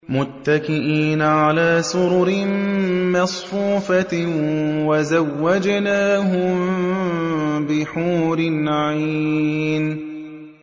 مُتَّكِئِينَ عَلَىٰ سُرُرٍ مَّصْفُوفَةٍ ۖ وَزَوَّجْنَاهُم بِحُورٍ عِينٍ